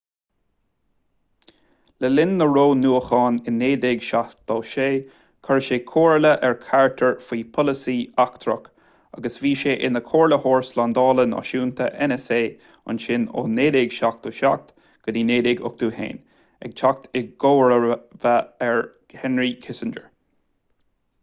le linn na roghnúchán i 1976 chuir sé comhairle ar carter faoi pholasaí eachtrach agus bhí sé ina chomhairleoir slándála náisiúnta nsa ansin ó 1977 go dtí 1981 ag teacht i gcomharba ar henry kissinger